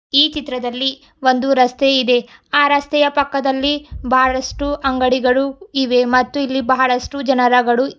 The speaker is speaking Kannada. ಈ ಚಿತ್ರದಲ್ಲಿ ಒಂದು ರಸ್ತೆ ಇದೆ ಆ ರಸ್ತೆಯ ಪಕ್ಕದಲ್ಲಿ ಬಹಳಷ್ಟು ಅಂಗಡಿಗಳು ಇವೆ ಮತ್ತು ಇಲ್ಲಿ ಬಹಳಷ್ಟು ಜನರಗಳು--